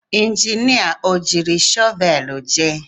Injinia o jiri shọvel jee?